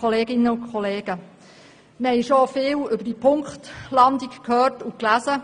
Wir haben schon viel von dieser Punktlandung gehört und gelesen.